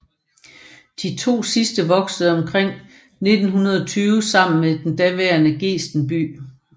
De 2 sidste voksede omkring 1920 sammen til den nuværende Gesten by